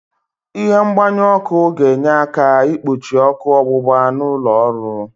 Ịhe mgbanyu ọ́kụ́ ga-enye aka igbochi ọ́kụ́ ọgbụgba n'ụlọ ọrụ.